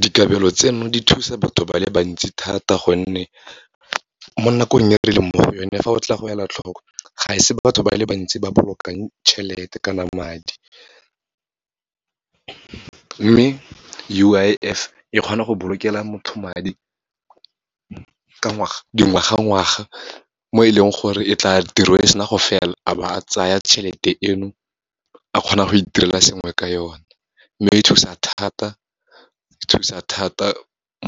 Dikabelo tseno di thusa batho ba le bantsi thata gonne, mo nakong e re leng mo go yone, fa o tla go ela tlhoko, ga e se batho ba le bantsi ba bolokang tjhelete kana madi. Mme U_I_F e kgona go bolokela motho madi, dingwaga ngwaga, mo e leng gore e tla, tirong e sena gore fela, a ba a tsaya tjhelete eno, a kgona go itirela sengwe ka yone. Mme e thusa thata, e thusa thata